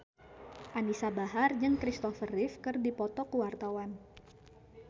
Anisa Bahar jeung Christopher Reeve keur dipoto ku wartawan